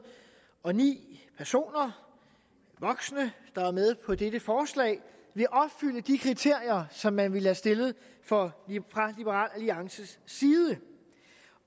og ni personer voksne der er med på dette forslag vil opfylde de kriterier som man ville have stillet fra liberal alliances side